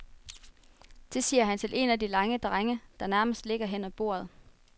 Det siger han til en af de lange drenge, der nærmest ligger hen af bordet.